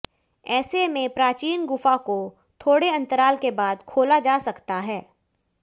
ऐसे में प्राचीन गुफा को थोड़े अंतराल के बाद खोला जा सकता है